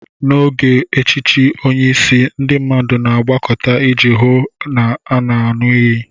N'oge echichi onye isi, ndị mmadụ na-agbakọta iji hụ na a na-aṅụ iyi.